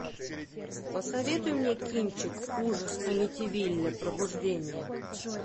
посоветуй мне кинчик ужас амитивилля пробуждение